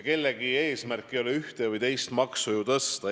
Kellegi eesmärk ei ole ju ühte või teist maksu tõsta.